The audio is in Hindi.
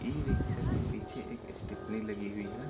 ई-रिक्शा के पीछे एक स्टेपनी लगी हुई है।